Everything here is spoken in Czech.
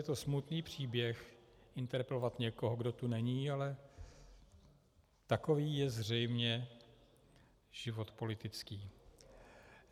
Je to smutný příběh, interpelovat někoho, kdo tu není, ale takový je zřejmě život politický.